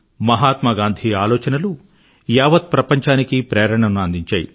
మహాత్మా గాంధీ ఆలోచనలు యావత్ ప్రపంచానికీ ప్రేరణను అందించాయి